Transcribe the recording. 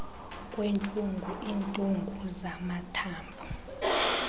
kwentlungu iintungu zamathambo